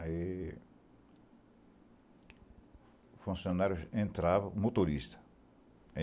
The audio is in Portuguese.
Aí... O funcionário entrava... Motorista.